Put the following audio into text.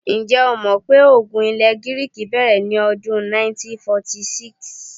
Ǹjẹ́́ o mọ̀ pé ogun ilẹ̀ Gíríìkì bẹ̀rẹ̀ ní ọdún 1946?